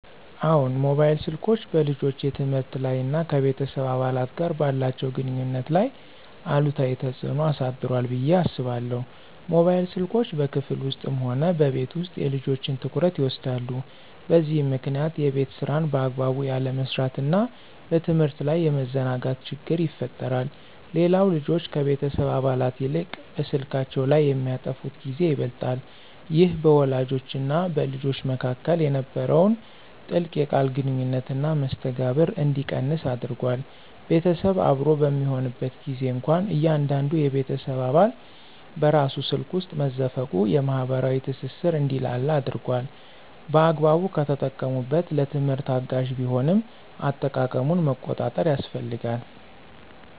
አዎን፣ ሞባይል ስልኮች በልጆች የትምህርት ላይ እና ከቤተሰብ አባላት ጋር ባላቸው ግንኙነት ላይ አሉታዊ ተጽዕኖ አሳድሯል ብዬ አስባለሁ። ሞባይል ስልኮች በክፍል ውስጥም ሆነ በቤት ውስጥ የልጆችን ትኩረት ይወስዳሉ፤ በዚህም ምክንያት የቤት ሥራን በአግባቡ ያለመስራትና በትምህርት ላይ የመዘናጋት ችግር ይፈጠራል። ሌላው ልጆች ከቤተሰብ አባላት ይልቅ በስልካቸው ላይ የሚያጠፉት ጊዜ ይበልጣል። ይህ በወላጆችና በልጆች መካከል የነበረውን ጥልቅ የቃል ግንኙነትና መስተጋብር እንዲቀንስ አድርጓል። ቤተሰብ አብሮ በሚሆንበት ጊዜም እንኳ እያንዳንዱ የቤተሰብ አባል በራሱ ስልክ ውስጥ መዘፈቁ የማኅበራዊ ትስስር እንዲላላ አድርጓል። በአግባቡ ከተጠቀሙበት ለትምህርት አጋዥ ቢሆንም፣ አጠቃቀሙን መቆጣጠር ያስፈልጋል።